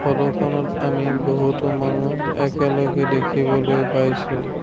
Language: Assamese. ফটোখনত আমি বহুতো মানুহ একেলগে দেখিবলৈ পাইছোঁ।